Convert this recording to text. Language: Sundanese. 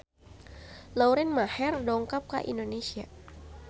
Lauren Maher dongkap ka Indonesia